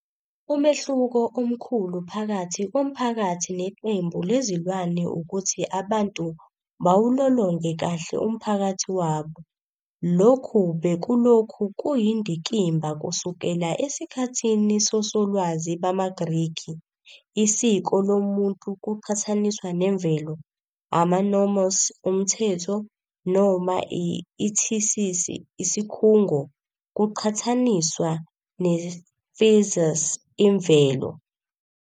Umehluko omkhulu phakathi komphakathi neqembu lezilwane ukuthi abantu bawulolonge kahle umphakathi wabo. Lokhu bekulokhu kuyindikimba kusukela esikhathini sosolwazi bamaGrikhi- isiko lomuntu kuqhathaniswa nemvelo, ama-nomos, umthetho, noma ithisisi, isikhungo, kuqhathaniswa ne-physis, imvelo.